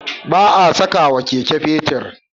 Ba a sakawa Keke fetir